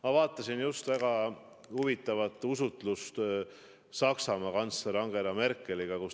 Ma vaatasin just väga huvitavat usutlust Saksamaa kantsleri Angela Merkeliga.